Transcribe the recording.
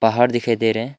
पहाड़ दिखाई दे रहे है।